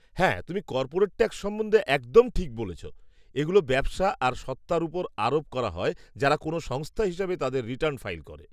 হ্যাঁ, তুমি corporate tax সম্বন্ধে একদম ঠিক বলেছ; এগুলো ব্যবসা আর সত্ত্বার ওপর আরোপ করা হয় যারা কোনো সংস্থা হিসেবে তাদের রিটার্ন ফাইল করে।